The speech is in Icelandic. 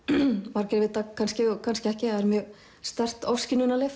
margir vita kannski og kannski ekki að er mjög sterkt